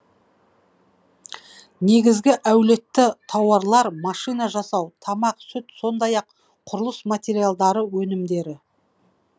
негізгі әлеуетті тауарлар машина жасау тамақ сүт сондай ақ құрылыс материалдары өнімдері